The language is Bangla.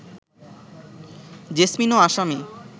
জেসমিনও আসামি